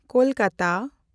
Kolkata